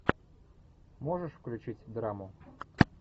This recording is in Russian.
можешь включить драму